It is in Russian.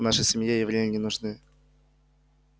в нашей семье евреи не нужны